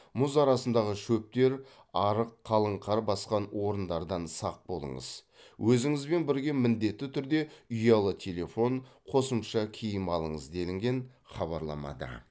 мұз арасындағы шөптер арық қалың қар басқан орындардан сақ болыңыз өзіңізбен бірге міндетті түрде ұялы телефон қосымша киім алыңыз делінген хабарламада